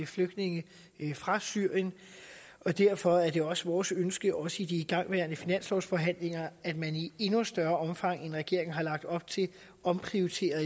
flygtninge fra syrien og derfor er det vores vores ønske også i de igangværende finanslovsforhandlinger at man i endnu større omfang end regeringen har lagt op til omprioriterer